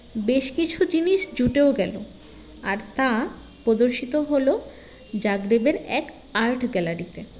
বেশ কিছু জিনিস জুটেও গেলো আর তা প্রদর্শিত হলো জাগরেবের এক art gallery -তে